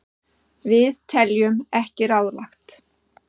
Við teljum ekki ráðlegt.